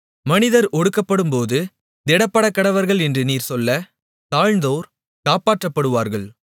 மனிதர் ஒடுக்கப்படும்போது திடப்படக்கடவர்கள் என்று நீர் சொல்ல தாழ்ந்தோர் காப்பாற்றப்படுவார்கள்